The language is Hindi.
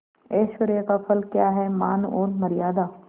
ऐश्वर्य का फल क्या हैमान और मर्यादा